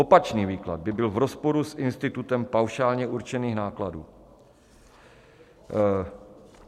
Opačný výklad by byl v rozporu s institutem paušálně určených nákladů.